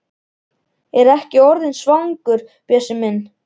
Ertu ekki orðinn svangur, Bjössi minn?